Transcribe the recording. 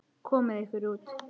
Komiði ykkur út.